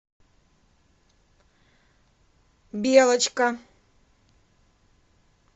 белочка